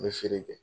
N bɛ feere kɛ